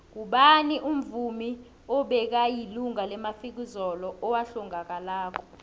ngubani umuvmi obekayilunga lemafikizo owahlangakalako